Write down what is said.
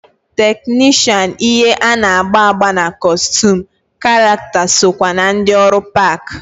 Teknishan ihe ana-agba agba na kọstum karakta sokwa na ndi ọrụ park.